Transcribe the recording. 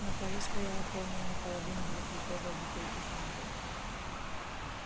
на полу стояла полная наполовину двухлитровая бутылка фанты